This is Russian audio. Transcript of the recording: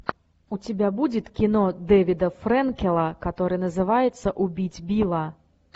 у тебя будет кино дэвида френкела которое называется убить билла